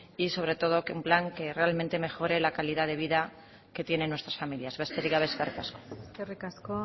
y sobre todo un plan que realmente mejore la calidad de vida que tienen nuestra familias besterik gabe eskerrik asko eskerrik asko